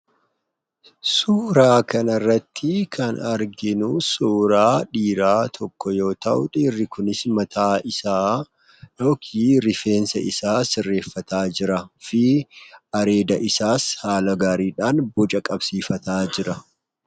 Suuraa kanarratti kan arginu suuraa dhiira tokko yoo ta'u, suurri kunis mataa isaa yookiin rifeensa isaa sirreeffata jira. areeda isaas haala gaariidhan boca qabsiifachaa jira.